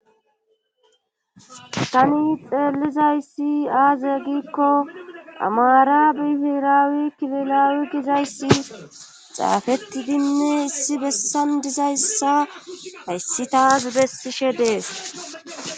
Tani xeellizayssi aaze giikko amara bifiraawi kililaawi gizayssi xaafettidinne issi bessan dizayssa hayssi taas bessishe dees.